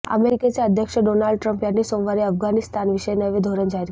अमेरिकेचे अध्यक्ष Donald Trump यांनी सोमवारी अफगाणिस्तानविषयक नवे धोरण जाहीर केले